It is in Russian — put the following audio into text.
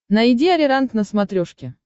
найди ариранг на смотрешке